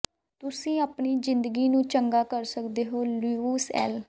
ਤੁਸੀਂ ਆਪਣੀ ਜ਼ਿੰਦਗੀ ਨੂੰ ਚੰਗਾ ਕਰ ਸਕਦੇ ਹੋ ਲੁਈਸ ਐਲ